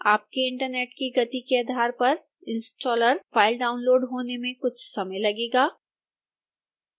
आपके इंटरनेट की गति के आधार पर इंस्टॉलर फाइल डाउनलोड़ होने में कुछ समय लगेगा